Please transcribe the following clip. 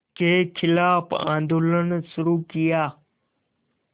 के ख़िलाफ़ आंदोलन शुरू किया